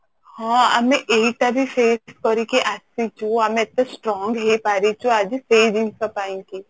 ହଁ ଆମେ ଏଇଟା ବି face କରିକି ଆସିଛୁ ଆମେ ଏତେ strong ହେଇପାରିଛୁ ଆଜି ସେଇ ଜିନିଷ ପାଇଁ କି